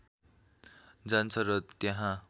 जान्छ र त्यहाँ